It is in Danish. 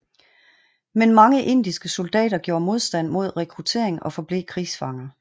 Men mange indiske soldater gjorde modstand mod rekruttering og forblev krigsfanger